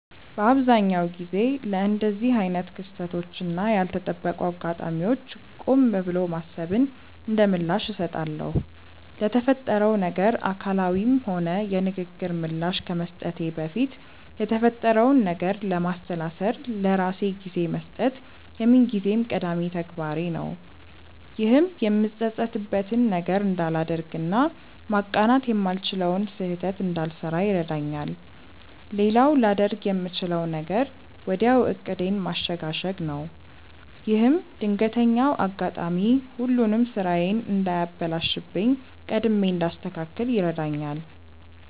በአብዛኛው ጊዜ ለእንደዚህ አይነት ክስተቶች እና ያልተጠበቁ አጋጣሚዎች ቆም ብሎ ማሰብን እንደምላሽ እሰጣለሁ። ለተፈጠረው ነገር አካላዊም ሆነ የንግግር ምላሽ ከመስጠቴ በፊት የተፈጠረውን ነገር ለማሰላሰል ለራሴ ጊዜ መስጠት የምንጊዜም ቀዳሚ ተግባሬ ነው። ይህም የምጸጸትበትን ነገር እንዳላደርግ እና ማቃናት የማልችለውን ስህተት እንዳልሰራ ይረዳኛል። ሌላው ላደርግ የምችለው ነገር ወዲያው ዕቅዴን ማሸጋሸግ ነው። ይህም ድንገተኛው አጋጣሚ ሁሉንም ስራዬን እንዳያበላሽብኝ ቀድሜ እንዳስተካክል ይረዳኛል።